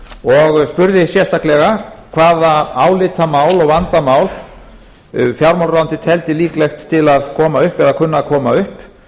ég spurði sérstaklega hvaða álitamál og vandamál fjármálaráðuneytið teldi líklegt til að koma upp eða kunna að koma upp